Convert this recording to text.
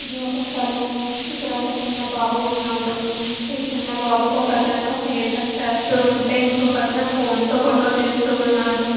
ఇది ఒక సెలూను . ఇక్కడ ఒక చిన్న బాబు ఉన్నాడు. ఈ చిన్న బాబుకు ఒకతను హెయిర్ కట్ చేస్తూ ఉంటే ఇంకొకతను ఫోన్ తో ఫోటో తీస్తూ ఉన్నాడు.